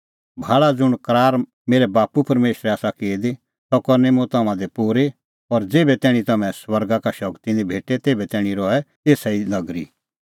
भाल़ा ज़ुंण करार मेरै बाप्पू परमेशरै आसा की दी सह करनी मुंह तम्हां दी पूरी और ज़ेभै तैणीं तम्हैं स्वर्गा का शगती निं भेटे तेभै तैणीं रहै एसा ई नगरी